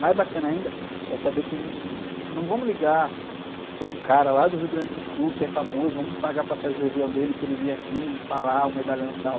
Mais bacana ainda é saber que não vamos ligar para um cara lá do Rio Grande do Sul que é famoso, vamos pagar a passagem de avião dele para ele vir aqui e falar, ah, o medalhão tal.